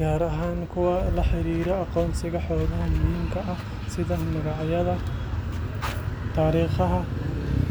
gaar ahaan kuwa la xiriira aqoonsiga xogaha muhiimka ah sida magacyada, taariikhaha, iyo goobaha.